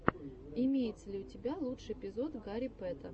имеется ли у тебя лучший эпизод гарри пэта